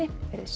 veriði sæl